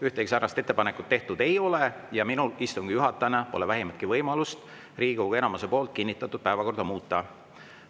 Ühtegi säärast ettepanekut tehtud ei ole ja minul istungi juhatajana pole vähimatki võimalust Riigikogu enamuse poolt kinnitatud päevakorda muuta.